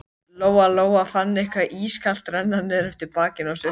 Lóa Lóa fann eitthvað ískalt renna niður eftir bakinu á sér.